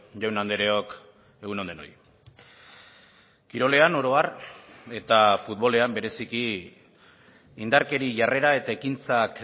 jaun andreok egun on denoi kirolean oro har eta futbolean bereziki indarkeria jarrera eta ekintzak